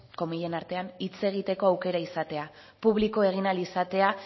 hitz egiteko aukera izatea publiko egin ahal izatea